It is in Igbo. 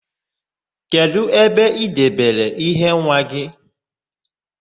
Kedụ ebe i debere íhé nwa gị?